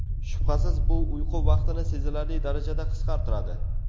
Shubhasiz, bu uyqu vaqtini sezilarli darajada qisqartiradi.